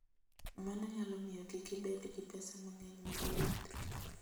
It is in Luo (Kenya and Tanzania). Mano nyalo miyo kik ibed gi pesa mang'eny mar wuoth.